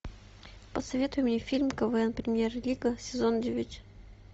посоветуй мне фильм квн премьер лига сезон девять